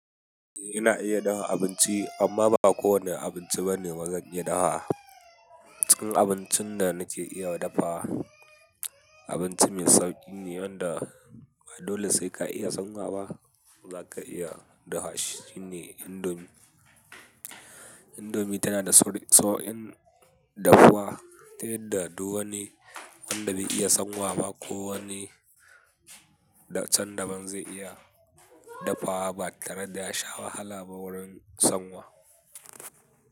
Eh ina iya dafa abinci amma ba kowane abinci ba ne zan iya dafawa. Cin abincin da nake iya dafawa abinci mai sauƙi ne wanda dole sai ka iya sanwa za ka iya dafa shi, shine ne indomie. Indomie tana da sauƙin dafuwa ta yadda duk wani wanda bai iya sanwa ba ko wani can da ban zai iya dafuwa ba tare da ya sha wahala ba wurin sanwa.